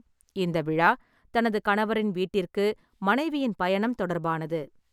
இந்த விழா தனது கணவரின் வீட்டிற்கு மனைவியின் பயணம் தொடர்பானது.